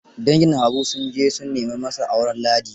Dangin Habu sun je su nema masa auren Ladi.